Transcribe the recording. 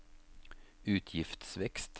utgiftsvekst